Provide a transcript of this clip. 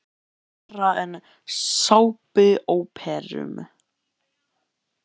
Þetta er verra en í sápuóperum.